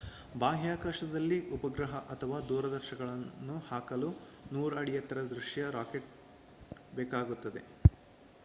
ಬಾಹ್ಯಾಕಾಶದಲ್ಲಿ ಉಪಗ್ರಹ ಅಥವಾ ದೂರದರ್ಶಕವನ್ನು ಹಾಕಲು 100 ಅಡಿ ಎತ್ತರದ ದೈತ್ಯ ರಾಕೆಟ್ ಬೇಕಾಗುತ್ತದೆ